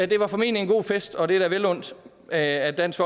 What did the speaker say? det var formentlig en god fest og det er da vel undt at at dansk